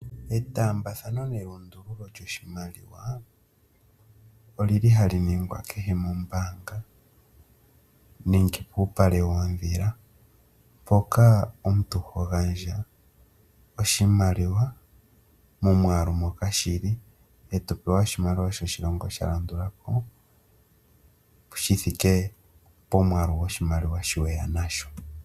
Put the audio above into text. Etambathano nelundululo lyoshimaliwa oli li ha li ningwa kehe mombanga, nenge puupale woondhila, mpoka omuntu ho gandja oshimaliwa momwaalu moka shili, e to pewa oshimaliwa shoshilongo sha landula ko, shi thike pomwaalu goshimaliwa shoka weya nasho.